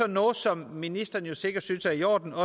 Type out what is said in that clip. noget som ministeren sikkert synes er i orden og